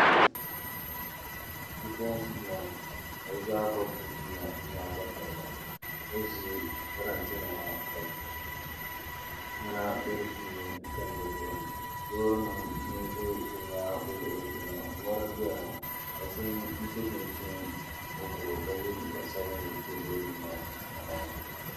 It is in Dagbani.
Bipuɣunsi n bɔŋɔ ka bi zaa gobi chinchina bi nyoɣu tatariga bi ʒi parantɛ nima ka niɛma bɛ di puuni n tam bi zuɣu ni loori nim n ʒɛ bi nyaangi bi luɣuli zuɣu ŋɔ mɔri n doya ŋɔ paɣa so n so chinchin mokuru ka yɛ liiga sabinli n n ʒɛ loori nim maa sunsuuni ŋɔ